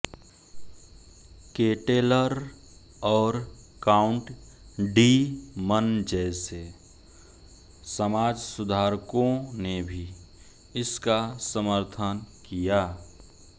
Ketteler और Count de Mun जैसे समाजसुधारकों ने भी इसका समर्थन किया